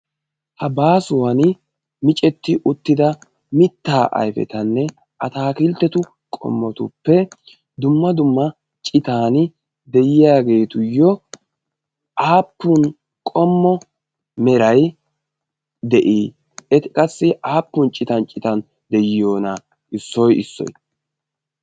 Ha baasuwan micetti uttida mitta ayfetanne ataakilittetu qommotuppe dumma dumma citaan de'iyageetuyyo aapun qommo meray de'ii? Eti qassi aappun citan citan de'iyonaa? issoy issoy.